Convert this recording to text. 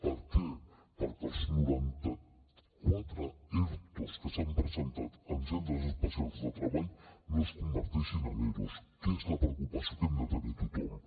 per què perquè els noranta quatre ertos que s’han presentat en centres especials de treball no es converteixin en eros que és la preocupació que hem de tenir tothom